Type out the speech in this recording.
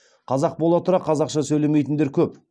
қазақ бола тұра қазақша сөйлемейтіндер көп